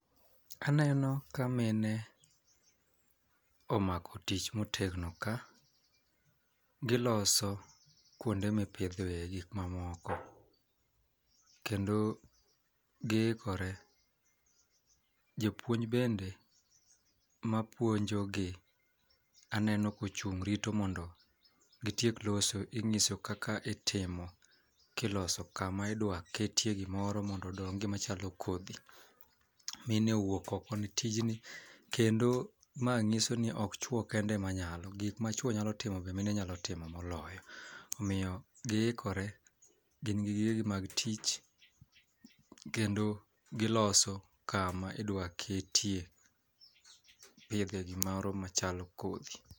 Aneno ka mine omako tich motegno ka, giloso kuonde mipidhe gik mamoko kendo giikore. Japuonj bende mapuonjo gi aneno kochung' rito mondo gitiek loso ing'iso kaka gitimo kiloso kama idwa ketie gimoro machalo kodhi mine owuok oko ne tijni .Kendo ma ng'iso ni ok chuo kende ema nyalo gik ama chuo nyalo timo be mine nyalo timo moloyo omiyo giikore gi gige gi mag tich kendo giloso kama idwa ketie pidhe gimoro machalo kodhi.